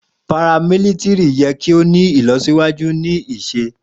paramilitiri yẹ ki o ni ilọsiwaju ni isẹ